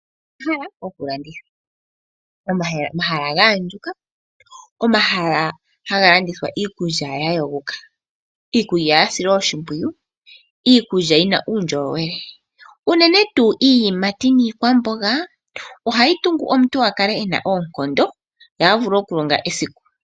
Omahala gokulanditha, omahala ga andjuka omahala haga landithwa iikulya ya yogoka, iikulya ya silwa oshimpwiyu, iikulya yina uundjolowele uunene tuu iiyimati niikwamboga ohayi tungu omuntu aka le ena oonkondo ye a vule okulonga esiku.